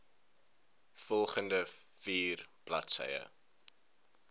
volgende vier bladsye